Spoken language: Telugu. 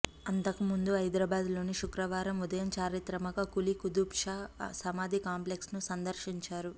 అంతకు ముందు హైదరాబాద్లోని శుక్రవారం ఉదయం చారిత్రక కూలీ కుతుబ్ షా సమాధి కాంప్లెక్స్ను సందర్శించారు